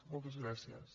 moltes gràcies